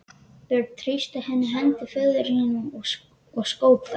Björn þrýsti enn hendur föður síns og skók þær.